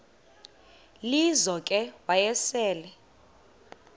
lizo ke wayesel